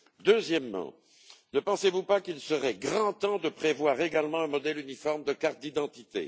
Deuxièmement, ne pensez vous pas qu'il serait grand temps de prévoir également un modèle uniforme de cartes d'identité?